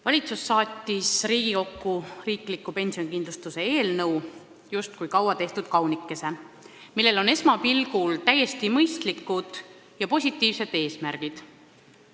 Valitsus saatis Riigikokku riikliku pensionikindlustuse seaduse muutmise eelnõu justkui kaua tehtud kaunikese, millel on esmapilgul täiesti mõistlikud ja positiivsed eesmärgid.